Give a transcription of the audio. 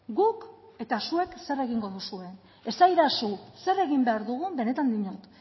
guk eta zuek zer egingo duzue esadazu zer egin behar dugun benetan diot